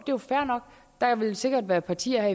jo fair nok der vil sikkert være partier